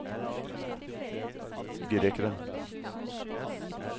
grekeren